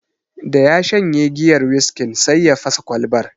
Da ya shanye giyar wiskin, sai ya fasa Kwalbar